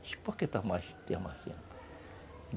Disse, por que está mais